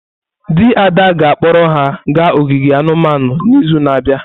Di Ada ga-akpọrọ ha gaa ogige anumanu n’izu na-abịa.